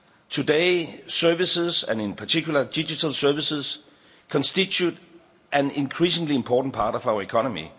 that. Today, services, and in particular digital services, constitute an increasingly important part of our